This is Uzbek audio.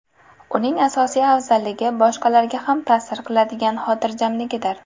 Uning asosiy afzalligi boshqalarga ham ta’sir qiladigan xotirjamligidir.